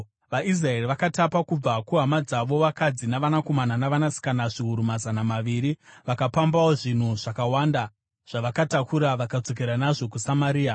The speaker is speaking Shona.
VaIsraeri vakatapa kubva kuhama dzavo vakadzi navanakomana navanasikana zviuru mazana maviri. Vakapambawo zvinhu zvakawanda, zvavakatakura vakadzokera nazvo kuSamaria.